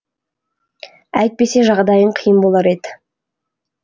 әйтпесе жағдайың қиын болар еді